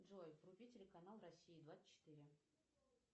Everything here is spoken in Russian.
джой вруби телеканал россия двадцать четыре